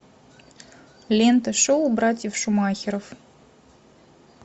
лента шоу братьев шумахеров